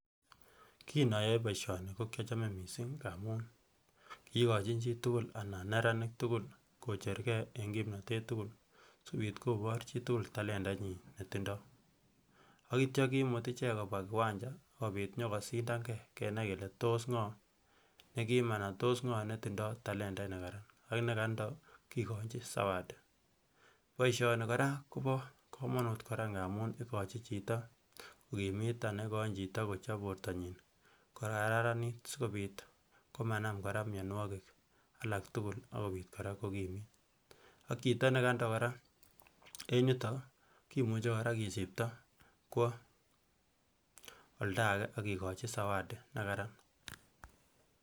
Kin oyoe boishoni ko kyochome missing ngamun kigochin chitugul anan neranik tugul kochergee en kimnotet tugul sikopit kobor chitugul talentainyin netindo ak kityo kimut icheng kobwaa kiwanja sikopit kosindange kenai kelee tos ngo nekim anan tos ngo netindo talentait nekaran ak nekando kigochi zawadi boishoni koraa kobo komonut kot missing amun igochin chito kokimit anan igoin chito kochop bortonyin kogararanit sikopit koraa komanam mionwokik alak tugul akopit koraa kokimit ak chito nekando koraa en yuton kimuche kisipto kwo oldange akigochi zawadi nekaran